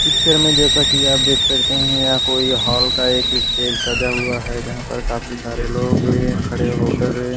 Picture में जैसा की आप देख सकते हैं यहां कोई हॉल का एक स्टेज सजा हुआ है जहां पर काफी सारे लोग खड़े होकर हैं।